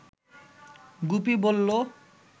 গুপি বলল